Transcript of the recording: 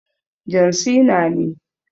John Cena ne.